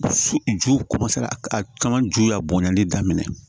Su ju a caman ju y'a bɔnɲɛni daminɛ